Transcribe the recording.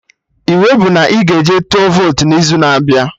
I wey bụ na ị ga-eji tụọ votu n'izu na-abịa